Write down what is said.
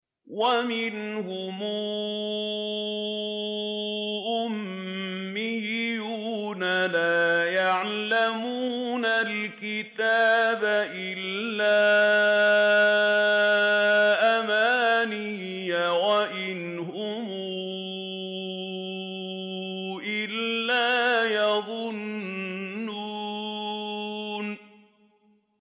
وَمِنْهُمْ أُمِّيُّونَ لَا يَعْلَمُونَ الْكِتَابَ إِلَّا أَمَانِيَّ وَإِنْ هُمْ إِلَّا يَظُنُّونَ